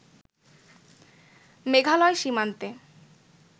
মেঘালয় সীমান্তে